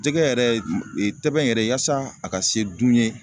Jɛgɛ yɛrɛ tɛbɛn yɛrɛ yaasa a ka se dun ye